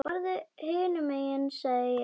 Farðu hinum megin sagði ég.